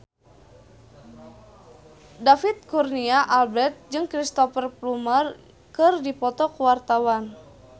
David Kurnia Albert jeung Cristhoper Plumer keur dipoto ku wartawan